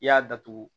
I y'a datugu